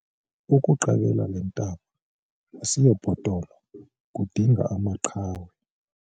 Ukuqabela le ntaba asiyobhotolo kudinga amaqhawe.